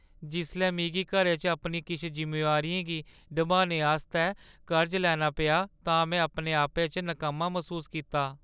जिसलै मिगी घरै च अपनी किश जिम्मेदारियें गी नभाने आस्तै कर्जा लैना पेआ तां में अपने आपै च नकम्मा मसूस कीता।